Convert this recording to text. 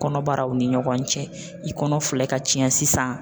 Kɔnɔbaraw ni ɲɔgɔn cɛ, i kɔnɔ filɛ ka tiɲɛ sisan.